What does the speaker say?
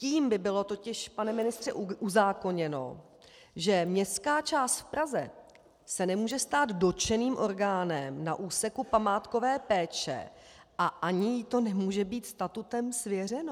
Tím by bylo totiž, pane ministře, uzákoněno, že městská část v Praze se nemůže stát dotčeným orgánem na úseku památkové péče a ani jí to nemůže být statutem svěřeno.